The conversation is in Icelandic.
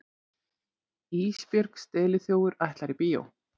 Ísbjörg steliþjófur ætlar í bíó.